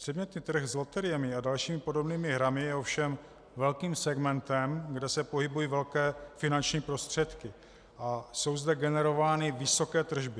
Předmětný trh s loteriemi a dalšími podobnými hrami je ovšem velkým segmentem, kde se pohybují velké finanční prostředky a jsou zde generovány vysoké tržby.